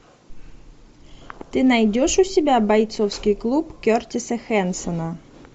ты найдешь у себя бойцовский клуб кертиса хэнсона